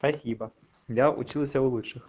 спасибо я учился у лучших